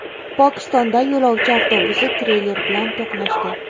Pokistonda yo‘lovchi avtobusi treyler bilan to‘qnashdi.